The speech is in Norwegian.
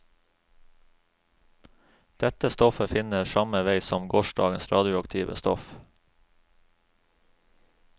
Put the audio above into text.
Dette stoffet finner samme vei som gårsdagens radioaktive stoff.